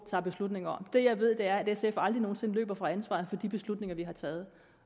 tager beslutninger om det jeg ved er at sf aldrig nogen sinde løber fra ansvaret for de beslutninger vi har taget